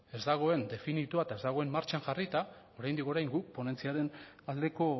ez dagoen definitua eta ez dagoen martxan jarrita oraindik orain guk ponentziaren aldeko